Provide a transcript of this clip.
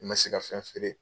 I man se ka fɛn feere.